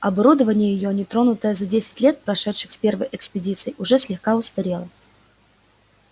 оборудование её не тронутое за десять лет прошедших с первой экспедиции уже слегка устарело